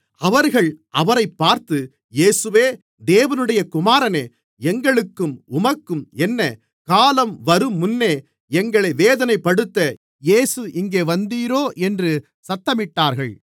அவர்கள் அவரைப் பார்த்து இயேசுவே தேவனுடைய குமாரனே எங்களுக்கும் உமக்கும் என்ன காலம் வருமுன்னே எங்களை வேதனைப்படுத்த இங்கே வந்தீரோ என்று சத்தமிட்டார்கள்